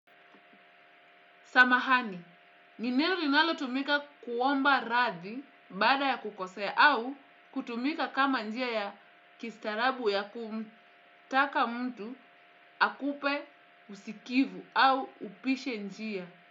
Samahani, ni neno linalo tumika kuomba radhi baada ya kukosea au kutumika kama njia ya kistaarabu ya kumtaka mtu akupe usikivu au upishe njia.